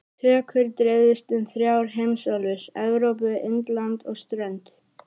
Tökur dreifðust um þrjár heimsálfur- Evrópu, Indland og strönd